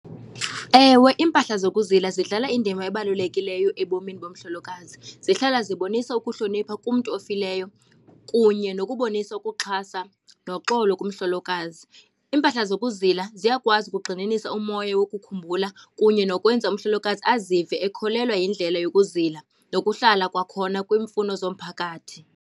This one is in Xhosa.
Ewe, iimpahla zokuzila zidlala indima ebalulekileyo ebomini bomhlolokazi. Zihlala zibonisa ukuhlonipha kumntu ofileyo kunye nokubonisa ukuxhasa noxolo kumhlolokazi. Impahla zokuzila ziyakwazi ukugxininisa umoya wokukhumbula, kunye nokwenza umhlolokazi azive ekholelwa yindlela yokuzila nokuhlala kwakhona kwiimfuno zomphakathi.